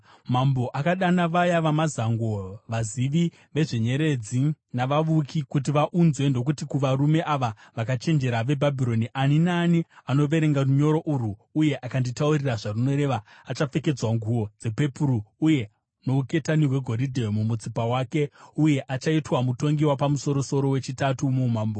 Mambo akadana vaya vamazango, vazivi vezvenyeredzi navavuki kuti vaunzwe ndokuti kuvarume ava vakachenjera veBhabhironi, “Ani naani anoverenga runyoro urwo uye akanditaurira zvarunoreva achapfekedzwa nguo dzepepuru uye nouketani hwegoridhe mumutsipa wake, uye achaitwa mutongi wapamusoro-soro wechitatu muumambo.”